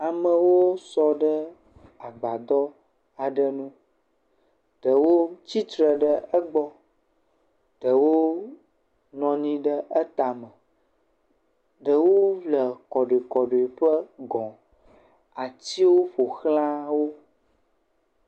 Amewo sɔ ɖe agbadɔ aɖe nu, ɖewo tsitre ɖe egbɔ, ɖewo nɔ anyi ɖe etame, ɖewo le kɔɖoekɔɖoeƒe gɔ, atiwo ƒoxlã wo.